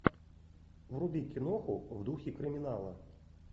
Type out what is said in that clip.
вруби киноху в духе криминала